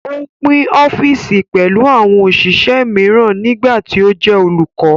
Ó pín ọ́fìsì pẹ̀lú àwọn òṣìṣẹ́ mìíràn nígbà tí ó jẹ́ olùkọ́